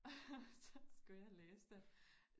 Og så skulle jeg læse det